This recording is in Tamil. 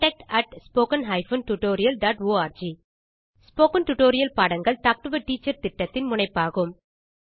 contact at spoken hyphen tutorial dot org spoken tutorial பாடங்கள் டாக் டு எ டீச்சர் திட்டத்தின் முனைப்பாகும்